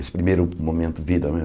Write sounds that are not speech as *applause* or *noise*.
Esse primeiro momento vida. *unintelligible*